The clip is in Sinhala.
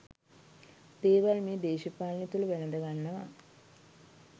දේවල් මේ දේශපාලනය තුළ වැළඳගන්නවා